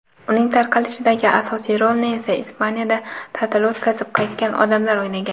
uning tarqalishidagi asosiy rolni esa Ispaniyada ta’til o‘tkazib qaytgan odamlar o‘ynagan.